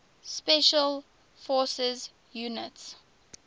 special forces units